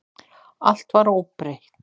Allt var óbreytt.